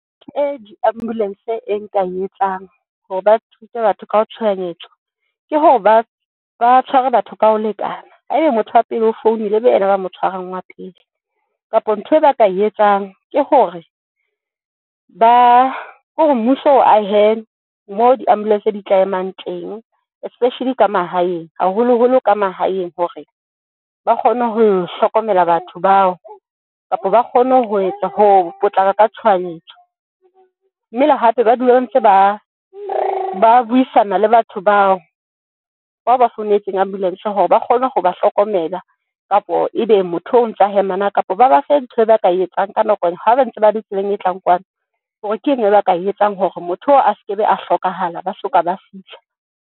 E di-ambulance e nka e etsang hore ba thuse batho ka ho tshohanyetso ke hore ba ba tshware batho ka ho lekana. Ha eba motho wa pele o founile e be yena ba mo tshwarang wa pele kapa ntho e ba ka e etsang ke hore ba, kore mmuso o ahe moo di-ambulance tse di tla emang teng, especially ka mahaeng haholo holo ka mahaeng hore ba kgone ho hlokomela batho bao kapa ba kgone ho etsa hoo ho potlaka ka tshohanyetso. Mme le hape ba dula ntse ba ba buisana le batho bao, bao ba founetseng ambulance hore ba kgone ho ba hlokomela. Kapo ebe motho oo ntsa hema na kapa ba bafe ntho e ba ka etsang ka nako, e ha ba ntse ba le tseleng e tlang kwano hore ke eng eo ba ka e etsang hore motho oo a se ke be a hlokahala, ba soka ba fihla.